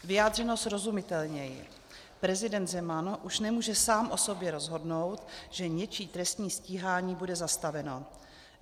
Vyjádřeno srozumitelněji, prezident Zeman už nemůže sám o sobě rozhodnout, že něčí trestní stíhání bude zastaveno.